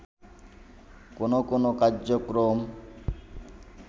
কোনো কোনো কার্যক্রম